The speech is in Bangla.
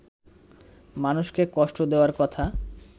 মানুষকে কষ্ট দেওয়ার কথা